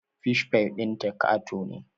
Fish pie ɗinta ƙato ne